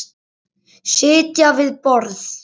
Sitja við borð